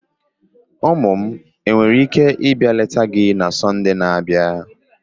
Ụmụ m nwere ike ịba leta gị na Sọnde na-abịa?